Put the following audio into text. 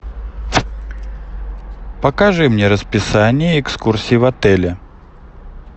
покажи мне расписание экскурсий в отеле